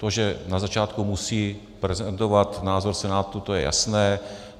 To, že na začátku musí prezentovat názor Senátu, to je jasné.